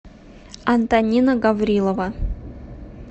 антонина гаврилова